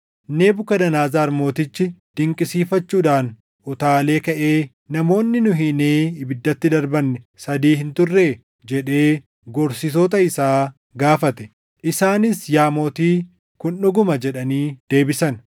Nebukadnezar Mootichi dinqisiifachuudhaan utaalee kaʼee, “Namoonni nu hiinee ibiddatti darbanne sadii hin turree?” jedhee gorsitoota isaa gaafate. Isaanis, “Yaa Mootii, kun dhuguma” jedhanii deebisan.